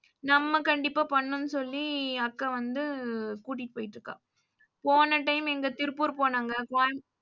நம்ம கண்டிப்பா பண்ணனும்னு சொல்லி அக்கா வந்து கூட்டிட்டு போய்ட்டுருக்கா. போன time இந்தா திருப்பூர் போனாங்க